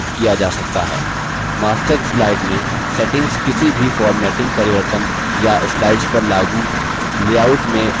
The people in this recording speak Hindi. master slide में settings किसी भी formatting परिवर्तन या slides पर लागू लेआउट में override करता है